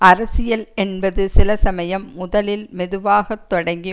அரசியல் என்பது சில சமயம் முதலில் மெதுவாக தொடங்கி